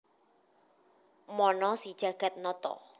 Mana si Jagatnata